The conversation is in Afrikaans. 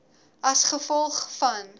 a g v